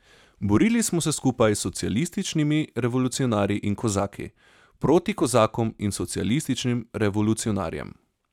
Borili smo se skupaj s socialističnimi revolucionarji in kozaki proti kozakom in socialističnim revolucionarjem.